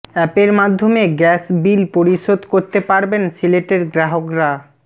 অ্যাপের মাধ্যমে gas bill পরিশোধ করতে পারবেন সিলেটের গ্রাহকরা